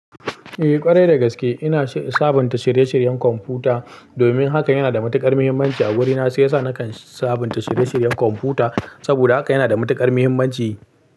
Eh ƙwarai dagaske, ina sabunta shirye-shiryen kwamfuta domin hakan yana da matukar muhimmanci a wurina. Shiyasa nakan sabunta shirye-shiryen kwamfuta saboda haka yana da matukar muhimmanci.